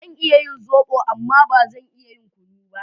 Zan iya yin zobo amma ba zan iya yin kunu ba